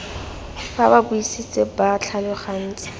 fa ba buisitse ba tlhalogantse